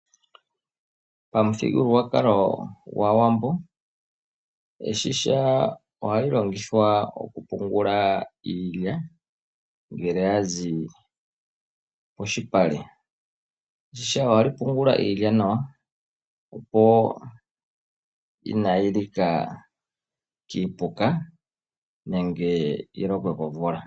Pamuthigululwakalo gwaawambo, eshisha ohali longithwa oku pungula iilya ngele yazi polupale. Eshisha ohali pungula iilya nawa, opo kaayi li ke kiipuka nenge yi lokwe komvula.